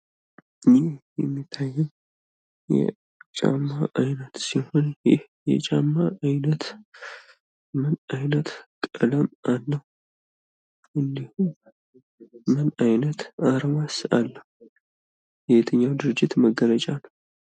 ይህ የሚያየን የጫማ አይነት ስሆን ይህ የጫማ አይነት ምን አይነት ቀለም አለው? እንዲሁም ምን አይነት አርማስ አለው? የየትኛው ድርጂት መገለጫ ነው?